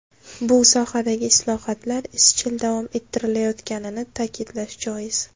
Bu sohadagi islohotlar izchil davom ettirilayotganini ta’kidlash joiz.